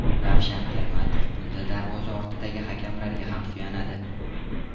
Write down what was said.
Ravshan Ermatov bunda darvoza ortidagi hakamlarga ham suyanadi.